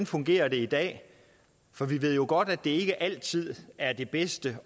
fungerer i dag for vi ved jo godt at det ikke altid er det bedste